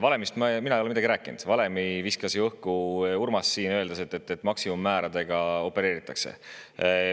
Valemist ei ole mina midagi rääkinud, valemi viskas õhku ju Urmas, öeldes, et maksimummääradega opereeritakse.